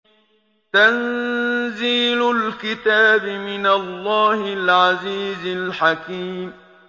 تَنزِيلُ الْكِتَابِ مِنَ اللَّهِ الْعَزِيزِ الْحَكِيمِ